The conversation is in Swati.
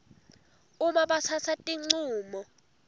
uma batsatsa tincumo